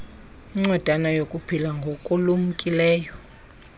incwadana yokuphila ngokulumkileyo